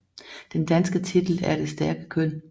Den danske titel er Det stærke køn